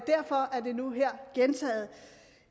det nu her gentaget